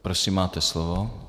Prosím, máte slovo.